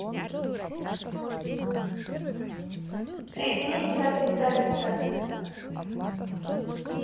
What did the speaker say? соедините со специалистом